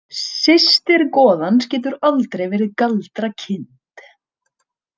Systir goðans getur aldrei verið galdrakind.